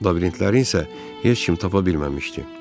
Labirintləri isə heç kim tapa bilməmişdi.